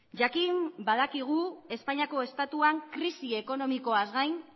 jakin badakigu espainiako estatuan krisi ekonomikoaz gain